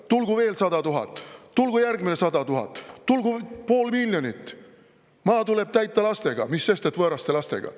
Tulgu veel 100 000, tulgu järgmine 100 000, tulgu pool miljonit – maa tuleb täita lastega, mis sest, et võõraste lastega.